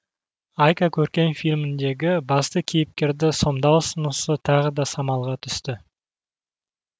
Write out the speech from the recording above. айка көркем фильміндегі басты кейіпкерді сомдау ұсынысы тағы да самалға түсті